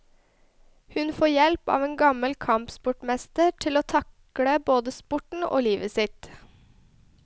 Hun får hjelp av en gammel kampsportmester til å takle både sporten og livet sitt.